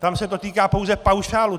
Tam se to týká pouze paušálu.